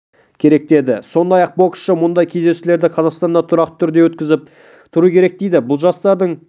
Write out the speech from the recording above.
керек деді сондай-ақ боксшы мұндай кездесулерді қазақстанда тұрақты түрде өткізіп тұру керек дейді бұл жастардың